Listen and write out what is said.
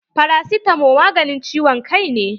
Farasitamo maganin ciwon kai ne.